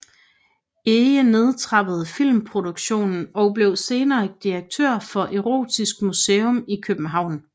Ege nedtrappede filmproduktionen og blev senere direktør for Erotisk Museum i København